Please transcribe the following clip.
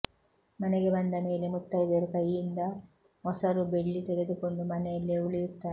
ಮನೆಗೆ ಬಂದ ಮೇಲೆ ಮುತ್ತೈದೆಯರು ಕೈಯಿಂದ ಮೊಸರು ಬೆಳ್ಳಿ ತೆಗೆದುಕೊಂಡು ಮನೆಯಲ್ಲೇ ಉಳಿಯುತ್ತಾನೆ